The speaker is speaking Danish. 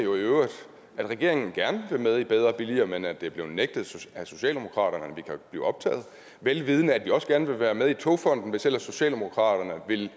at regeringen gerne vil være med i bedre og billigere men at det er blevet nægtet af socialdemokraterne at vi kan blive optaget og vel vidende at vi også gerne vil være med i togfonden dk hvis ellers socialdemokraterne ville